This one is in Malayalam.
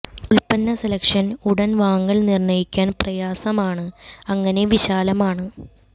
ഉൽപ്പന്ന സെലക്ഷൻ ഉടൻ വാങ്ങൽ നിർണ്ണയിക്കാൻ പ്രയാസമാണ് അങ്ങനെ വിശാലമാണ്